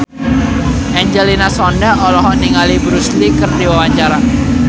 Angelina Sondakh olohok ningali Bruce Lee keur diwawancara